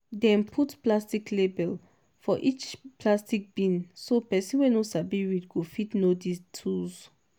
dem put picture label for each plastic bin so person wey no sabi read go fit know di tools.